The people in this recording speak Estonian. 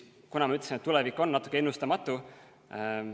Nagu ma ütlesin, tulevik on natuke ennustamatu.